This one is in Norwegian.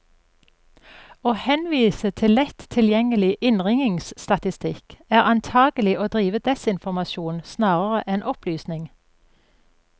Å henvise til lett tilgjengelig innringningsstatistikk, er antagelig å drive desinformasjon snarere enn opplysning.